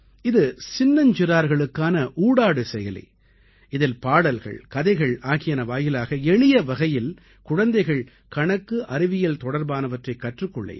இது சின்னஞ்சிறார்களுக்கான ஊடாடு செயலி இதில் பாடல்கள் கதைகள் ஆகியன வாயிலாக எளிய வகையில் குழந்தைகள் கணக்குஅறிவியல் தொடர்பானவற்றைக் கற்றுக் கொள்ள இயலும்